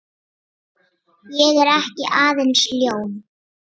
Ég er ekki aðeins ljón.